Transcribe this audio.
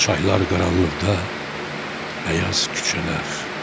Çaylar qaranlıqda, bəyaz küçələr.